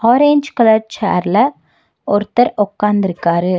Orange colour சேர்ல ஒருத்தர் ஒக்காந்துருக்காரு.